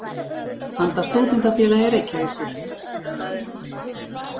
handa Stúdentafélagi Reykjavíkur.